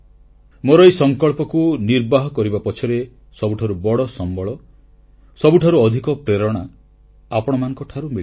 ମୋର ଏହି ସଂକଳ୍ପକୁ ନିର୍ବାହ କରିବା ପଛରେ ସବୁଠାରୁ ବଡ଼ ସମ୍ବଳ ସବୁଠାରୁ ଅଧିକ ପ୍ରେରଣା ଆପଣମାନଙ୍କଠାରୁ ମିଳିଲା